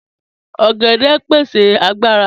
Ọ̀gẹ̀dẹ pẹ̀sẹ̀ agbàrà.